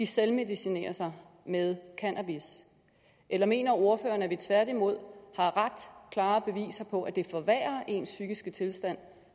selvmedicinerer sig med cannabis eller mener ordføreren at vi tværtimod har ret klare beviser på at det forværrer ens psykiske tilstand